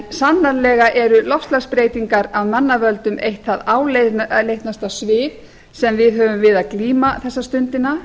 sannarlega eru loftslagsbreytingar af mannavöldum eitt það áleitnasta svið sem við höfum við að glíma þessa stundina